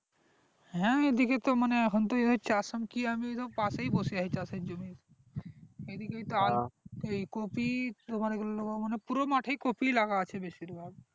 হ্যাঁ এই দিকে তো মানে এখন তো চাষ কি আমি তো এইরক পাশেই বসে আছি চাষের জমির এই কফি তোমার এগুলি মানে পুরো মাঠেই কফি লাগা আছে বেশিরভাগ